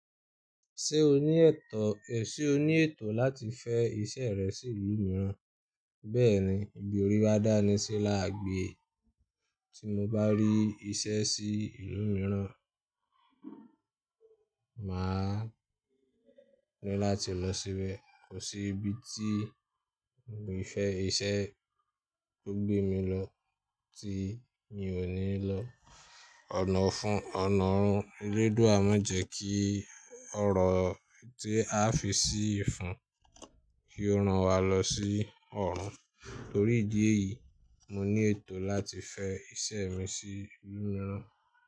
Ṣé o ní ètò, è sè ó ní ètò láti fẹ́ iṣẹ́ rẹ sí ìlú mìíràn? Bẹ́ẹ̀ni, ibi ori ba dá ní sí lágbè tí mo bá rí iṣẹ́ sí ìlú mìíràn, màá rí láti lọ síbẹ̀. Kò sí ibi tí mo fẹ́ iṣẹ́ tó gbé mi lọ tí mi ò ní lọ. Ọ̀nà fún ònà ọ̀run elédùà máa jẹ́ kí ọrọ̀ tí a fi sí ìfun kí ó rán wa lọ sí ọ̀run. Torí ìdí èyí, mo ní ètò láti fẹ́ iṣẹ́ mi sí ìlú mìíràn.